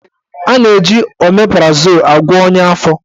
A na-eji omeprazol agwọ ọnya afọ.